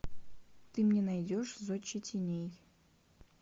ты мне найдешь зодчий теней